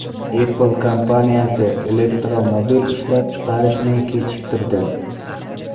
Apple kompaniyasi elektromobil ishlab chiqarishni kechiktirdi.